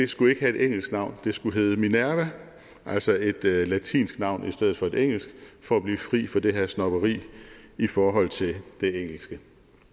skulle have et engelsk navn men skulle hedde minerva altså et latinsk navn i stedet for et engelsk for at blive fri for det her snobberi i forhold til det engelske